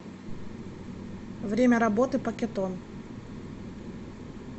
время работы пакетон